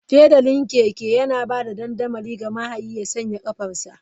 Fedalin keke yana ba da dandamali ga mahayin ya sanya ƙafarsa/ta.